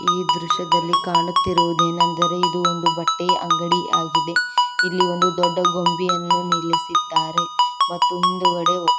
ಈ ದೃಶ್ಯದಲ್ಲಿ ಕಾಣುತ್ತಿರುವುದೇನೆಂದರೆ ಇದು ಒಂದು ಬಟ್ಟೆಯ ಅಂಗಡಿಯಾಗಿದೆ ಇಲ್ಲಿ ಒಂದು ದೊಡ್ಡ ಕೊಂಬಿಯನ್ನು ನಿಲ್ಲಿಸಿದ್ದಾರೆ ಮತ್ತು ಮುಂದುಗಡೆ.